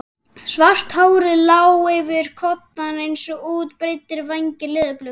Svart hárið lá yfir koddann eins og útbreiddir vængir leðurblöku.